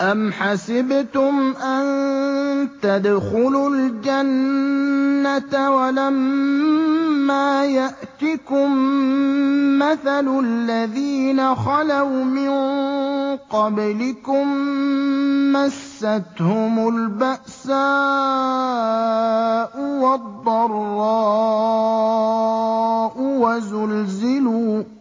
أَمْ حَسِبْتُمْ أَن تَدْخُلُوا الْجَنَّةَ وَلَمَّا يَأْتِكُم مَّثَلُ الَّذِينَ خَلَوْا مِن قَبْلِكُم ۖ مَّسَّتْهُمُ الْبَأْسَاءُ وَالضَّرَّاءُ